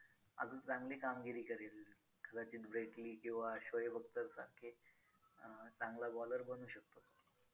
अजून चांगली कामगिरी करेल किंवा शोएब अख्तर सारखी अं चांगला bowler बनू शकतो.